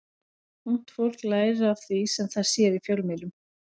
Ungt fólk lærir af því sem það sér í fjölmiðlum.